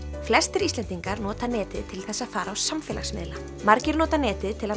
flestir Íslendingar nota netið til þess að fara á samfélagsmiðla margir nota netið til að